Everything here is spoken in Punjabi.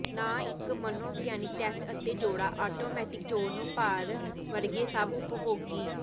ਨਾ ਇੱਕ ਮਨੋਵਿਗਿਆਨਕ ਟੈਸਟ ਅਤੇ ਜੋੜਾ ਆਟੋਮੈਟਿਕ ਚੋਣ ਨੂੰ ਭਰ ਵਰਗੇ ਸਭ ਉਪਭੋਗੀ